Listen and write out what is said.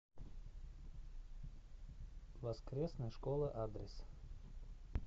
воскресная школа адрес